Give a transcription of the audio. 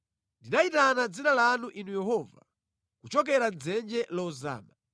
Ndinayitana dzina lanu Inu Yehova, kuchokera mʼdzenje lozama.